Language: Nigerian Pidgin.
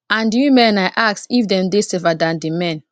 and di women i ask if dem dey safer dan di men